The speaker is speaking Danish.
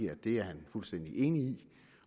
at det er han fuldstændig enig i